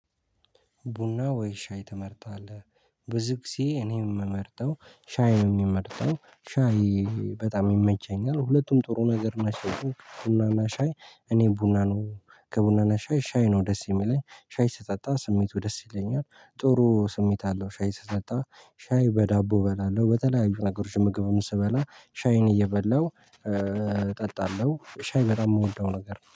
ቡና ወይ ሻይ ትመርጣለህ? ብዙ ጊዜ እኔ የምመርጠው ሻይ የሚመርጠው ሻይ በጣም ይመቸኛል። ሁለቱም ጥሩ ነገር ናቸው። ቡና እና ሻይ። እኔ ቡና ነው ከቡና እና ሻይ ሻይ ነው ደስ የሚለኝ ሻይ ስጠጣ ስሜቱ ደስ ይለኛል። ጥሩ ስሜት አለው። ሻይ ስጠጣ ሻይ በዳቦ እበላለሁ በተለያዩ ነገሮች ምግብም ስበላ ሻይን እየበላሁ እጠጣለሁ። ሻይ በጣም የምወደው ነገር ነው